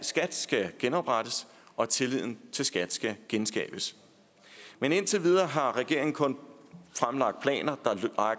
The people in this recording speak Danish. skat skal genoprettes og at tilliden til skat skal genskabes men indtil videre har regeringen kun fremlagt planer